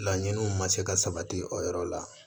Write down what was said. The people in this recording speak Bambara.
Laɲiniw ma se ka sabati o yɔrɔ la